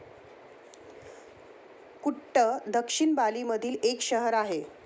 कुट्ट दक्षिण बाली मधील एक शहर आहे.